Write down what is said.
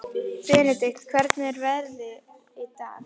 Benedikt, hvernig er veðrið í dag?